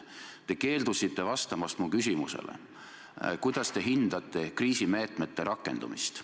Te keeldusite vastamast mu küsimusele, kuidas te hindate kriisimeetmete rakendumist.